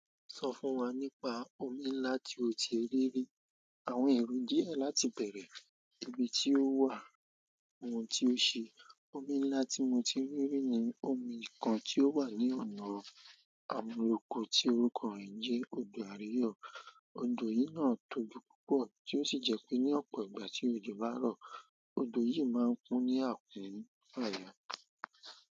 Sọ fún wa nípa omi ńlá tí o ti rí rí. Àwọn èrò díẹ̀ láti bẹ̀rẹ̀, ibi tí ó wà, ohun tí ó ṣe. Omi ńlá tí mo ti rí rí ni omi kan tí ó wà ní ọ̀nà Àmuloko, tí orúkọ rẹ̀ ń jẹ́ Odò Àríyọ̀. Odò yìí náà tóbi púpọ̀, tí ó sì jẹ́ pé ní ọ̀pọ̀ ìgbà tí òjò bá rọ̀, odò yìí máa ń kún ní àkun fàyà.